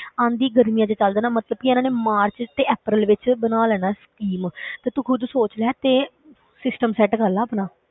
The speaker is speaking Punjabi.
ਆਉਂਦੀਆਂ ਗਰਮੀਆਂ ਵਿੱਚ ਚਲੇ ਜਾਣਾ ਮਤਲਬ ਕਿ ਇਹਨਾਂ ਨੇ ਮਾਰਚ ਤੇ ਅਪ੍ਰੈਲ ਵਿੱਚ ਬਣਾ ਲੈਣਾ ਹੈ scheme ਤੇ ਤੂੰ ਖੁੱਦ ਸੋਚ ਲੈ ਤੇ system set ਕਰ ਲਾ ਆਪਣਾ।